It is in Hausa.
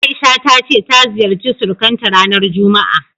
A'isha ta ce ta ziyarci surukanta ranar juma'a.